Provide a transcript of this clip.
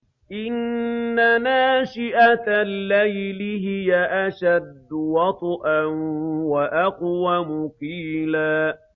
إِنَّ نَاشِئَةَ اللَّيْلِ هِيَ أَشَدُّ وَطْئًا وَأَقْوَمُ قِيلًا